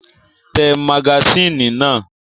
Tẹ magasínì náà!